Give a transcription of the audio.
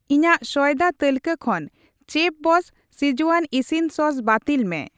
ᱤᱧᱟᱜ ᱥᱚᱭᱫᱟ ᱛᱟᱹᱞᱠᱟᱹ ᱠᱷᱚᱱ ᱪᱮᱯᱷᱵᱚᱥᱥ ᱥᱠᱤᱡᱣᱟᱱ ᱤᱥᱤᱱ ᱥᱚᱥ ᱵᱟᱹᱛᱤᱞ ᱢᱮ ᱾